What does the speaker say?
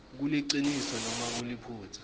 kuliciniso nobe kuliphutsa